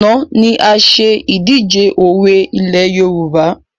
Àná ni a ṣe ìdíje òwe ilẹ̀ Yorùbá